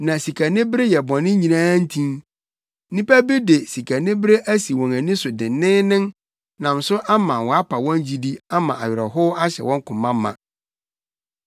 Na sikanibere yɛ bɔne nyinaa ntin. Nnipa bi de sikanibere asi wɔn ani so denneennen nam so ama wɔapa wɔn gyidi ama awerɛhow ahyɛ wɔn koma ma.